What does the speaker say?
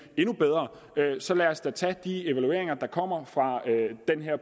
endnu bedre så lad os da tage de evalueringer der kommer af den